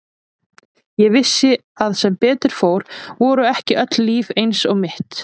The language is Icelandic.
Ég vissi að sem betur fór voru ekki öll líf eins og mitt.